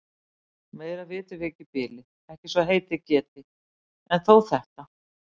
Meira vitum við ekki í bili, ekki svo heitið geti. en þó þetta.